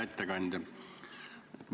Hea ettekandja!